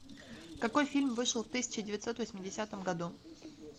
какой фильм вышел в тысяча девятьсот восьмидесятом году